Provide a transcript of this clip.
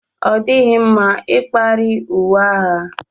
Ọ dịghị mma ikpari uwe agha